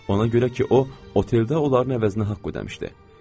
Ona görə ki, o, oteldə onların əvəzinə haqq ödəmişdi.